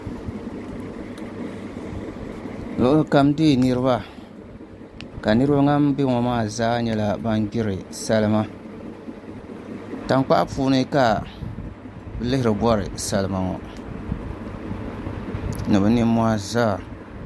Luɣuli kam deei niraba ka niraba ban biɛni maa zaa nyɛla bin gbiri salima tankpaɣu puuni ka bi lihiri bori salima ŋo ni bi nimmohi zaa